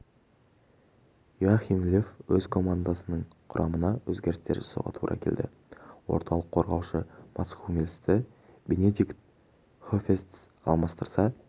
йоахим лев өз командасының құрамына өзгерістер жасауға тура келді орталық қорғаушы матс хуммельсті бенедикт хөведес алмастырса